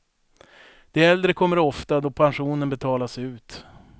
De äldre kommer ofta då pensionen betalas ut.